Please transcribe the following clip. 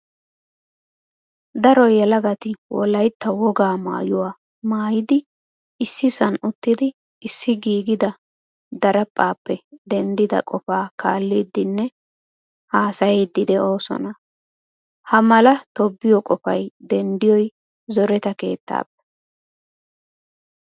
Daro yelagati wolaytta wogaa maayuwaa maayidi issisan uttidi issi giigida diriphphappe denddida qofaa kaalidinne haasayidi deosona. Haamala tobbiyo qofay denddiyoy zoretta keettappe.